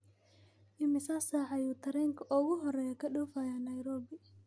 Imisa saac ayuu tareenka ugu horeeya ka dhoofayaa Nairobi?